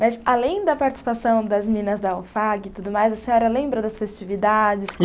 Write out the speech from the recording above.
Mas além da participação das meninas da OFAG e tudo mais, a senhora lembra das festividades?